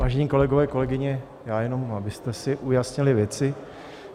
Vážení kolegové, kolegyně, já jenom, abyste si ujasnili věci.